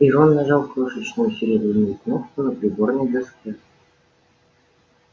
и рон нажал крошечную серебряную кнопку на приборной доске